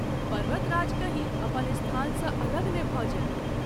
पर्वतराज कहीं अपन स्थान सँ अलग ने भ’ जाय।